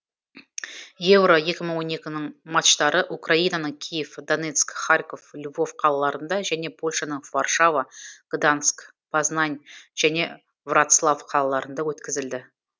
еуро екі мың он екінің матчтары украинаның киев донецк харьков львов қалаларында және польшаның варшава гданьск познань және вроцлав қалаларында өткізілді